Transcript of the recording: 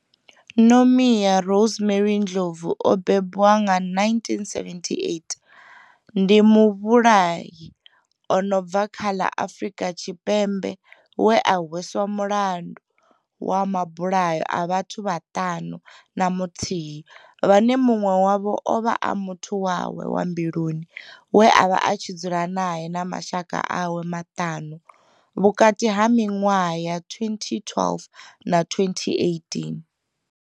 Nomia Rosemary Ndlovu o bebwa nga 1978 ndi muvhulahi a no bva kha ḽa Afurika Tshipembe we a hweswa mulandu wa mabulayo a vhathu vhaṱanu na muthihi vhane munwe wavho ovha a muthu wawe wa mbiluni we avha a tshi dzula nae na mashaka awe maṱanu vhukati ha minwaha ya 2012 na 2018.